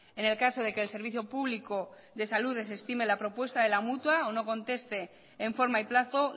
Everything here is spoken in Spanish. en el caso de que el servicio público de salud desestime la propuesta de la mutua o no conteste en forma y plazo